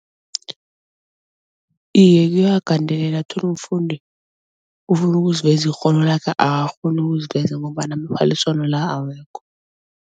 Iye kuyawagandelela uthole umfundi ufuna ukuziveza ikghono lakhe akakghoni ukuziveza ngombana amaphaliswano la awekho.